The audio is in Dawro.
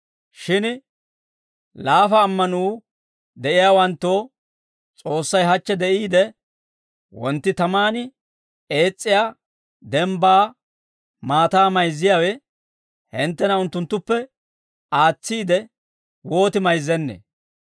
Shin laafa ammanuu de'iyaawanttoo, S'oossay, hachche de'iide, wontti tamaan ees's'iyaa dembbaa maataa mayzziyaawe, hinttena unttuwaappe aatsiide wooti mayzzennee?